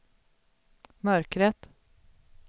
mörkret